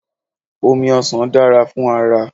Omi ọsàn dára fún ara